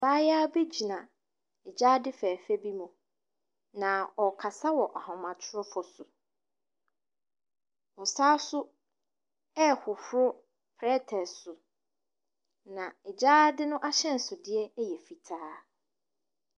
Abaayewa bi gyina gyaade fɛɛfɛ bi mu. Na ɔrekasa wɔ ahomatorofoɔ so. Ɔsane nso rehohoro plɛte so. Na gyaade no ahyɛnsodeɛ yɛ fitaa.